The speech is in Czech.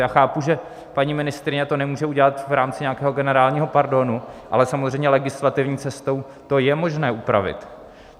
Já chápu, že paní ministryně to nemůže udělat v rámci nějakého generálního pardonu, ale samozřejmě legislativní cestou to je možné upravit.